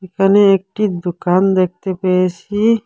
এখানে একটি দোকান দেখতে পেয়েছি।